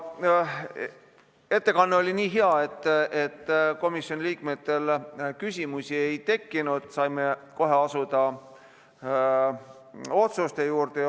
Ettekanne oli nii hea, et komisjoni liikmetel küsimusi ei tekkinud, saime kohe asuda otsuste juurde.